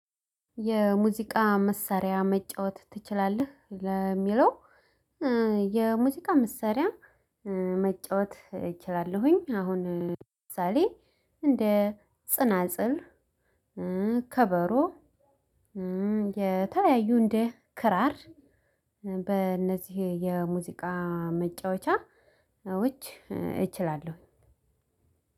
የሙዚቃ መሳሪያ መጫወት ትችላለህ ለሚለው? የሙዚቃ መሳሪያ መጫወት እችላለሁኝ። አሁን ለምሳሌ እንደ ጽናጽል ከበሮ የተለያዩ እንደ ክራር በእነዚህ የሙዚቃ መጫወቻዎች እችላለሁ።